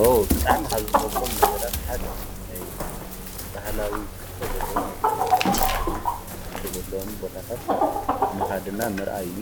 ኦ! ብጣዕሚ ካብ ዝፈትዎም ነገራት ሓደ ናይ ባህላዊ ትሕዝቶ ዘለዎም ወይ ከዓ ናይ ቀደም ታሪኽ ትሕዝቶ ዘለዎም ቦታታት ምኻድ እና ምርኣይ እዩ።